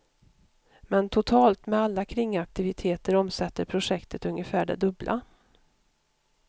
Men totalt, med alla kringaktiviteter omsätter projektet ungefär det dubbla.